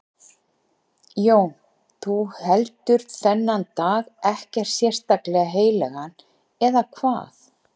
Jón: Þú heldur þennan dag ekkert sérstaklega heilagan, eða hvað?